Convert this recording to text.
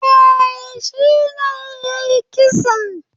Eh, shine yayi kisan